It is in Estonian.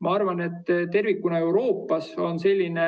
Ma arvan, et tervikuna Euroopas on selline